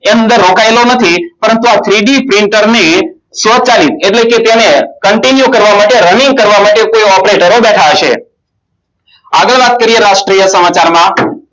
એમ દર વસાયેલો નથી પરંતુ આ three D printing ની શ્વાસહી એટલે કે તેને Continue કરવા માટે Running કરવા માટે આગળ વાત કરીયે રાષ્ટ્ર સમાચારમાં